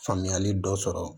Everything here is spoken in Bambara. Faamuyali dɔ sɔrɔ